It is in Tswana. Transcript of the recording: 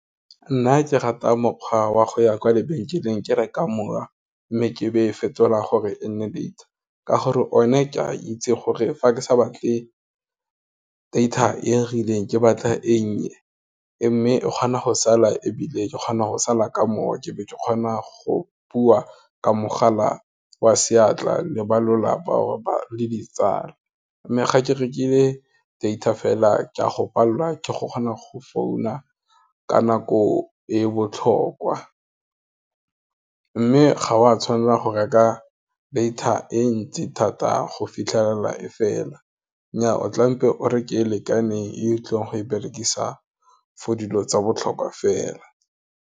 Nna ke rata mokgwa wa go ya kwa lebenkeleng ke reka mowa, mme ke be e e fetolang gore e nne data, ka gore one ke a itse gore fa ke sa batle data e rileng ke batla e nnye, mme e kgona go sala ebile ke kgona go sala ka moya, ke be ke kgona go bua ka mogala wa seatla le ba lelapa or le ditsala. Mme ga ke rekile data fela, ke a go palelwa ke go kgona go founa ka nako e e botlhokwa, mme ga wa tshwanela go reka data e ntsi thata go fitlhelela e fela, nnyaa o tlampe o re ke lekaneng, e tlileng go e berekisa for dilo tsa botlhokwa fela.